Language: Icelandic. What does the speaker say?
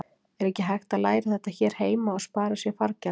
Er ekki hægt að læra þetta hér heima og spara sér fargjaldið?